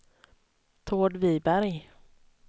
Tord Viberg